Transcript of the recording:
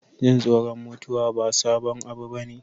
Jin tsoron mutuwa ba sabon abu bane.